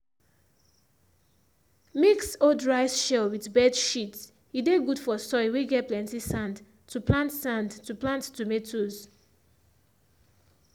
mix old rice shell with bird shit he dey good for soil whey get plenty sand to plant sand to plant tomatoes